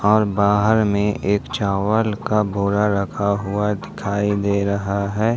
और बाहर में एक चावल का बोरा रखा हुआ दिखाई दे रहा है।